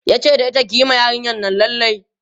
tace da ita "kiyi ma yarinyan Nan lalle!